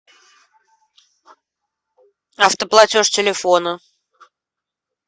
автоплатеж телефона